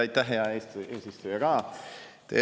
Aitäh, hea eesistuja, ka!